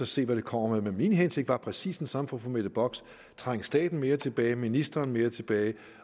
se hvad det kommer med men min hensigt var præcis den samme som fru mette bocks nemlig at trænge staten mere tilbage ministeren mere tilbage